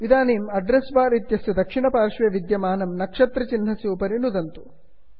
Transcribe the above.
इदानीम् address bar इत्यस्य दक्षिणपार्श्वे विद्यमाननक्षत्रचिन्हस्य उपरि नुदन्तु